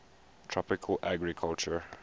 tropical agriculture